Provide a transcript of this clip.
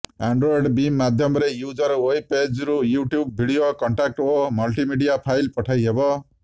Android beam ମାଧ୍ୟମରେ user web ପେଜରୁ YouTube video contact ଏବଂ ମଲ୍ଟିମିଡିଆ ଫାଇଲ୍ ପଠାଇ ହେବ